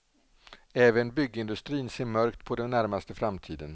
Även byggindustrin ser mörkt på den närmaste framtiden.